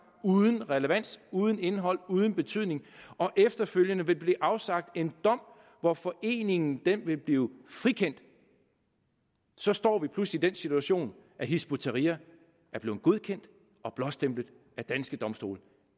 uden relevans uden indhold uden betydning efterfølgende vil der blive afsagt en dom hvor foreningen vil blive frikendt så står vi pludselig i den situation at hizb ut tahrir er blevet godkendt og blåstemplet af danske domstole